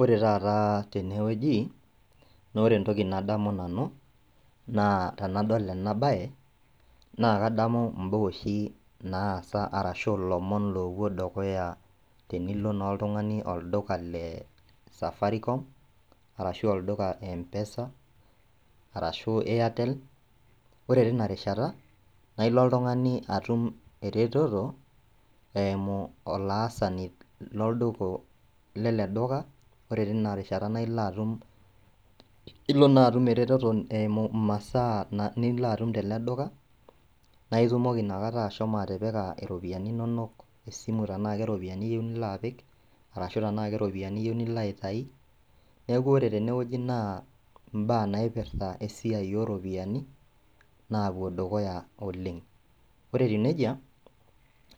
Ore tataa tenewueji naaore entoki nadamu nanu naa tenadol ena baye naakadamu imbaa oshi naasa arashu ilomon loopuo dukuya tenilo naa oltung'ani olduka le safarikom arashu olduka empesa, arashu airtel, ore tinarishata nailo oltung'ani atum eretoto eimu olaasani lolduka leleduka ore tinarishata naailoatum ilonaatum eretoto eimu masaa niloatum tele duka naitumoki nakata ashomo atipika iropiani inonok esimu tenaake iropiani iyou niloapiki arashu tenake iropiani iyou niloaitai neaku ore tenewueji naa imbaa naipirta esiai oropiani naapuo dukuya oleng'. Ore etiu neija,